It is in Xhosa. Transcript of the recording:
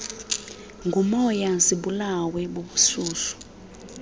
ngumoya zibulawe bubushushu